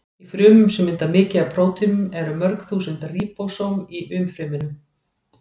Í frumum sem mynda mikið af prótínum eru mörg þúsund ríbósóm í umfryminu.